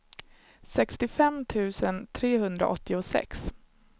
sextiofem tusen trehundraåttiosex